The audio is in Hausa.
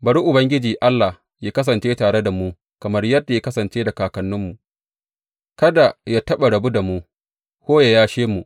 Bari Ubangiji Allah yă kasance tare da mu kamar yadda ya kasance da kakanninmu; kada yă taɓa rabu da mu, ko yă yashe mu.